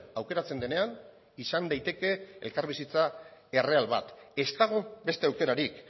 aukeratzen denean izan daiteke elkarbizitza erreal bat ez dago beste aukerarik